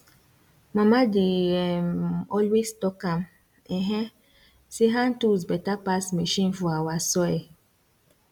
mama dey um always tok am um say hand tools better pass machine for our soil